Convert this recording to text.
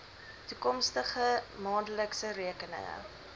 toekomstige maandelikse rekeninge